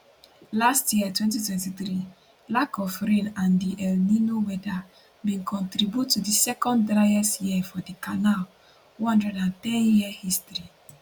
last year 2023 lack of rain and di el nino weather bin contribute to di second driest year for di canal 110year history